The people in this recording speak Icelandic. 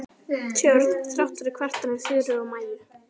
Tjörn þrátt fyrir kvartanir Þuru og Maju.